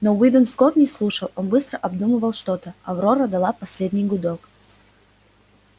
но уидон скотт не слушал он быстро обдумывал что то аврора дала последний гудок